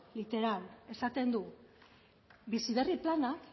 literal esaten du bizi berri plana